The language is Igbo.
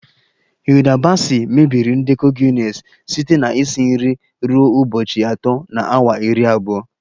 Hilda baci mebiri ndekọ Guinness site na isi nri ruo ụbọchị atọ na awa iri abụọ